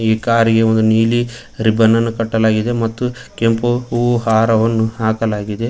ಈ ಕಾರಿಗೆ ಒಂದು ನೀಲಿ ರೀಬ್ಬನನ್ನು ಕಟ್ಟಲಾಗಿದೆ ಮತ್ತು ಕೆಂಪು ಹೂವು ಹಾರವನ್ನು ಹಾಕಲಾಗಿದೆ.